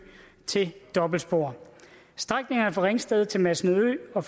til dobbeltspor strækningerne fra ringsted til masnedø og